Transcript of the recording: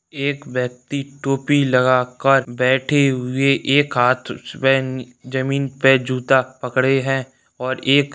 एक व्यक्ति टोपी लगाकर बैठे हुए एक हाथ उसमे जमीन पे जूता पकड़े है और एक--